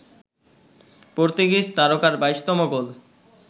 Portuguese তারকার ২২তম গোল